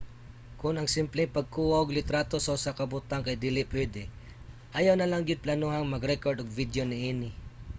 kon ang simpleng pagkuha og litrato sa usa ka butang kay dili pwede ayaw nalang gyud planohang mag-rekord og video niini